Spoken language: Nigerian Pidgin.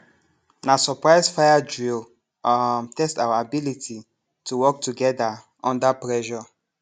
na surprise fire drill um test our ability to work together under pressure